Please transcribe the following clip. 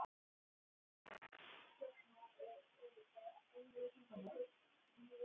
Komst að raun um að viðurinn er mjög góður.